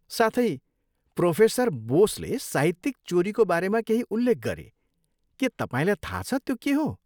साथै, प्रोफेसर बोसले साहित्यिक चोरीको बारेमा केही उल्लेख गरे, के तपाईँलाई थाहा छ त्यो के हो?